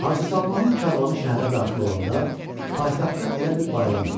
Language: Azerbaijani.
Hacı Salmanın karvanı şəhərə daxil olanda, paytaxtda elə bil bayram idi.